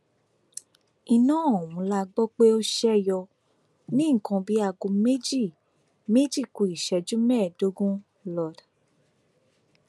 iná ọhún la gbọ pé ó ṣe yọ ní nǹkan bíi aago méjì méjì ku ìṣẹjú mẹẹẹdógún lord